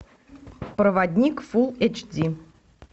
проводник фулл эйч ди